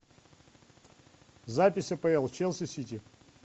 запись апл челси сити